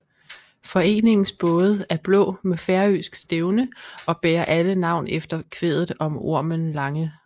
Foreningens både er blå med færøsk stævne og bærer alle navn efter kvædet om Ormen Lange